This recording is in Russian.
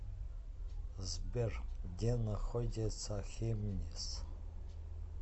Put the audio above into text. сбер где находится хемниц